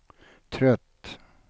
trött